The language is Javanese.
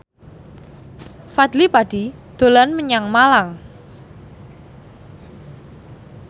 Fadly Padi dolan menyang Malang